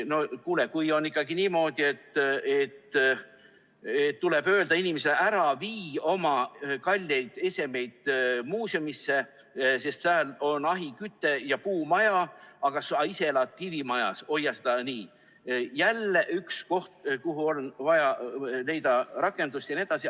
No kuule, kui on ikkagi niimoodi, et tuleb öelda inimesele, et ära vii oma kalleid esemeid muuseumisse, sest sääl on ahiküte ja puumaja, aga sa ise elad kivimajas, hoia seda seal, siis see on jälle üks koht, kus on vaja leida lahendust jne.